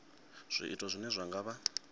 zwiito zwine zwa nga vha